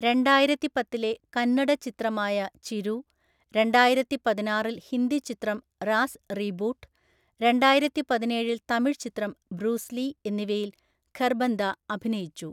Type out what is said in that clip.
രണ്ടായിരത്തി പത്തിലെ കന്നഡ ചിത്രമായ ചിരു, രണ്ടായിരത്തിപതിനാറില്‍ ഹിന്ദി ചിത്രം റാസ് റീബൂട്ട്, രണ്ടായിരത്തിപതിനേഴില്‍ തമിഴ് ചിത്രം ബ്രൂസ് ലീ എന്നിവയിൽ ഖർബന്ദ അഭിനയിച്ചു.